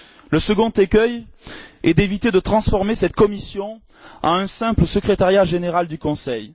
Le second écueil est d'éviter de transformer cette Commission en un simple secrétariat général du Conseil.